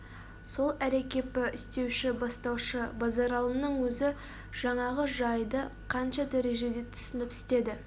сол әрекепі істеуші бастаушы базаралының өзі жаңағы жайды қанша дәрежеде түсініп істеді